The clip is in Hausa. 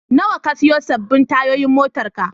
Nawa ka sayo sabbin tayoyin motarka?